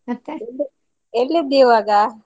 ಎಲ್ಲಿದ್ದಿ ಈವಾಗ?